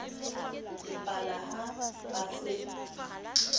le pala ha ba se